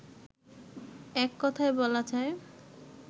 এককথায় বলা যায়